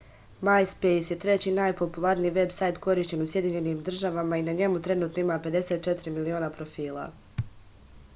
majspejs je treći najpopularniji veb sajt korišćen u sjedinjenim državama i na njemu trenutno ima 54 miliona profila